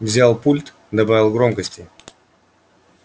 взял пульт добавил громкости